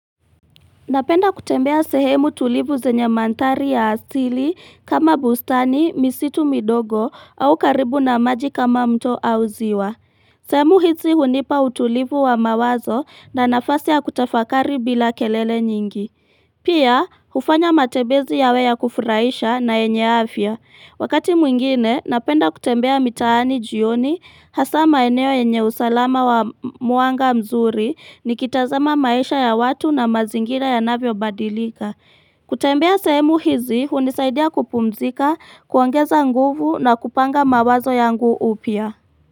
Napenda kutembea sehemu tulivu zenye mandhari ya asili kama bustani, misitu midogo au karibu na maji kama mto au ziwa. Sehemu hizi hunipa utulivu wa mawazo na nafasi ya kutafakari bila kelele nyingi. Pia, hufanya matembezi yawe ya kufurahisha na yenye afya. Wakati mwingine, napenda kutembea mitaani jioni hasa maeneo yenye usalama wa mwanga mzuri nikitazama maisha ya watu na mazingira yanavyo badilika. Kutembea sehemu hizi, hunisaidia kupumzika, kuongeza nguvu na kupanga mawazo yangu upya.